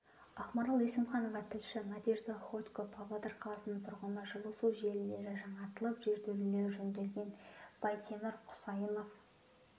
ақмарал есімханова тілші надежда ходько павлодар қаласының тұрғыны жылу су желілері жаңартылып жертөлелері жөнделген байтемір құсайынов